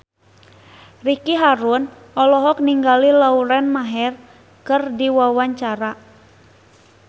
Ricky Harun olohok ningali Lauren Maher keur diwawancara